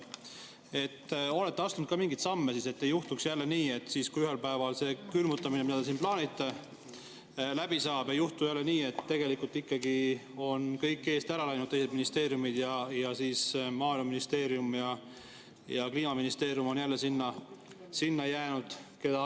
Kas te olete astunud ka mingeid samme, et ei juhtuks nii, et kui ühel päeval see külmutamine, mida te siin plaanite, läbi saab, ei juhtu jälle nii, et tegelikult ikkagi on kõik teised ministeeriumid eest ära läinud ja maaeluministeerium ja Kliimaministeerium on jälle maha jäänud?